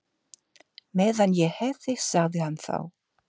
Meðan ég hef þig sagði hann þá.